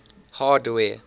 hardware